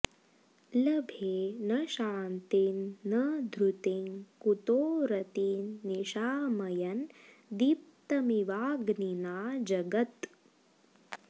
लभे न शान्तिं न धृतिं कुतो रतिं निशामयन् दीप्तमिवाग्निना जगत्